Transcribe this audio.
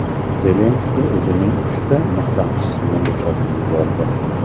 Zelenskiy o‘zining uchta maslahatchisini bo‘shatib yubordi.